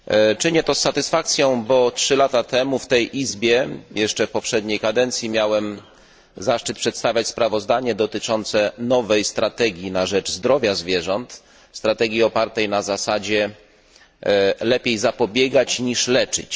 Czynię to z satysfakcją, ponieważ 3 lata temu w tej Izbie jeszcze w poprzedniej kadencji miałem zaszczyt przedstawiać sprawozdanie dotyczące nowej strategii na rzecz zdrowia zwierząt, opartej na zasadzie lepiej zapobiegać niż leczyć.